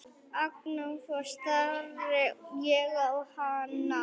Agndofa stari ég á hana.